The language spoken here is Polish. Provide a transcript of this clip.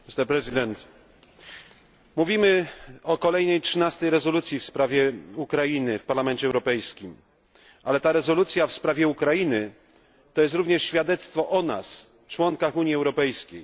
Panie Przewodniczący! Mówimy o kolejnej 13 rezolucji w sprawie Ukrainy w Parlamencie Europejskim, ale ta rezolucja w sprawie Ukrainy to jest również świadectwo o nas, członkach Unii Europejskiej.